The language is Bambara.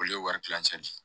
Olu ye wari tilancɛ ye